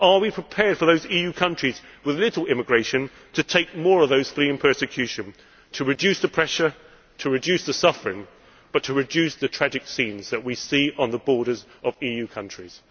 Are we prepared for those EU countries with little immigration to take more of those fleeing persecution, to reduce the pressure, to reduce the suffering, and to reduce the tragic scenes that we see on the borders of EU countries.